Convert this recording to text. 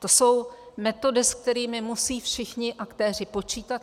To jsou metody, se kterými musí všichni aktéři počítat.